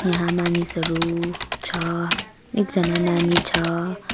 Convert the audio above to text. यहाँ मानिसहरू छ एकजना नानी छ।